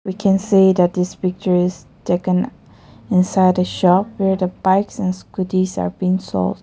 We can see that is picture is taken inside the shop where the bikes and scootys are being sold.